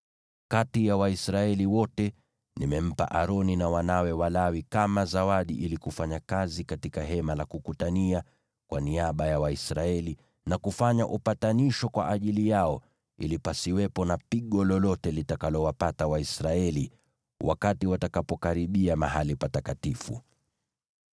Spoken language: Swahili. Kati ya Waisraeli wote, nimempa Aroni na wanawe Walawi kama zawadi ili wafanye kazi katika Hema la Kukutania kwa niaba ya Waisraeli, na kufanya upatanisho kwa ajili yao ili pasiwepo na pigo lolote litakalowapata Waisraeli wakati watakapokaribia mahali patakatifu.”